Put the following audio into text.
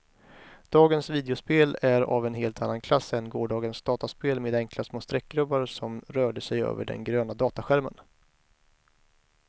Dagens videospel är av en helt annan klass än gårdagens dataspel med enkla små streckgubbar som rörde sig över den gröna dataskärmen.